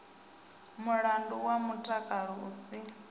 mulandu wa mutakalo u si